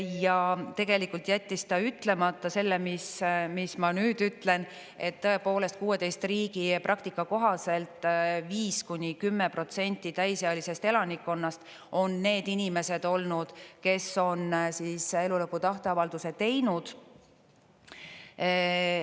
Ja tegelikult jättis ta ütlemata selle, mis ma nüüd ütlen, et tõepoolest, 16 riigi praktika kohaselt 5–10% täisealisest elanikkonnast on need inimesed olnud, kes on elulõpu tahteavalduse teinud.